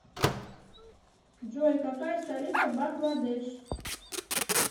джой какая столица бангладеш